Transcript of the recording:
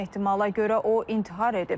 İlkin ehtimala görə o intihar edib.